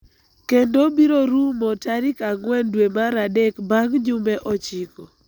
kendo biro rumo tarikang'wen dwe mar adek bang� jumbe ochiko.